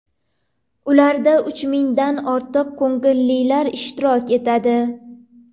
Ularda uch mingdan ortiq ko‘ngillilar ishtirok etadi.